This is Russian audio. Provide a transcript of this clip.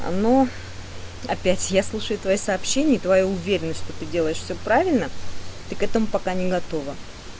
ну опять я слушаю твоё сообщение и твоя уверенность что ты делаешь все правильно ты к этому пока не готова